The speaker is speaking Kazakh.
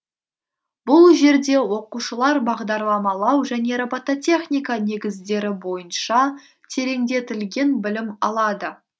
бұл жерде оқушылар бағдарламалау және робототехника негіздері бойынша тереңдетілген білім алады